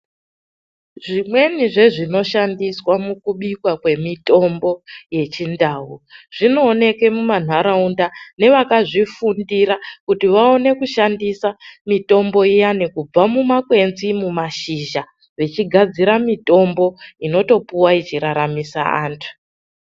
Zvimweni zvezvinoshandiswa mukubikwa kwemitombo yechindau zvinoonekwa mumanharaunda nevakazvifundira kuti vaone kushandisa mitombo iyani kubva mumakwenzi mumashizha vechigadzira mitombo inotopuwa ichiraramisa andu.